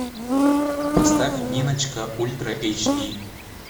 поставь ниночка ультра эйч ди